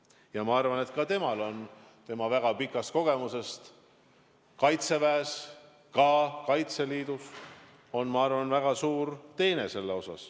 Ja ma arvan, et ka on tänu väga pikale kogemusele Kaitseväes ja Kaitseliidus selles osas väga suured teened.